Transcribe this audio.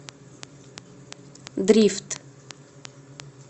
дрифт